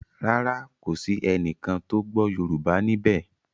Ràrá kò sí ẹní kán tó gbó yorùbá níbè.